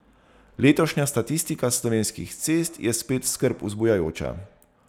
Letošnja statistika s slovenskih cest je spet skrb vzbujajoča.